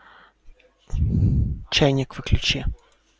чайник выключи